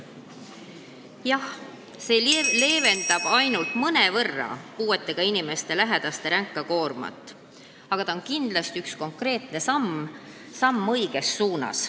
Jah, see leevendab ainult mõnevõrra puuetega inimeste lähedaste ränka koormat, aga see on kindlasti üks konkreetne samm õiges suunas.